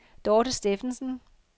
Dorte Steffensen